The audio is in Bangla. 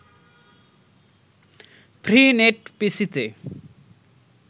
ফ্রী নেট পিসিতে